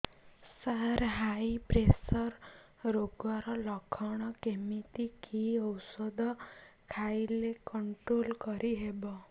ସାର high pressure ରୋଗର ଲଖଣ କେମିତି କି ଓଷଧ ଖାଇଲେ କଂଟ୍ରୋଲ କରିହେବ